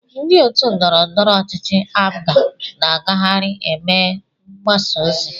Ndị otu ndọrọndọrọ ọchịchị APGA na-agagharị eme mgbasa ozi.